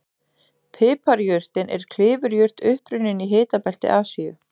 Piparjurtin er klifurjurt upprunnin í hitabelti Asíu.